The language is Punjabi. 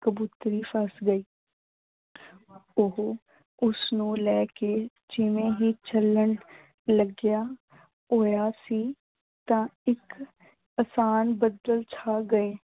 ਕਬੂਤਰੀ ਫੱਸ ਗਈ। ਓਹੋ ਉਸਨੂੰ ਲੈ ਕੇ ਜਿਵੇਂ ਹੀ ਚਲਣ ਲੱਗਿਆ ਹੋਇਆ ਸੀ ਤਾਂ ਇੱਕ ਬੱਦਲ ਛਾ ਗਏ।